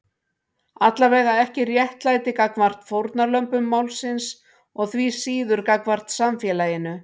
Allavega ekki réttlæti gagnvart fórnarlömbum málsins og því síður gagnvart samfélaginu.